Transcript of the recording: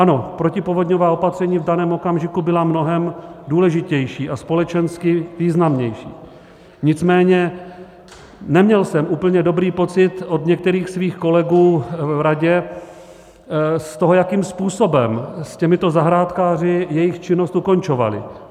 Ano, protipovodňová opatření v daném okamžiku byla mnohem důležitější a společensky významnější, nicméně neměl jsem úplně dobrý pocit od některých svých kolegů v radě z toho, jakým způsobem s těmito zahrádkáři jejich činnost ukončovali.